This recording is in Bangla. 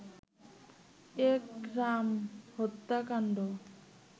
একরাম হত্যাকান্ড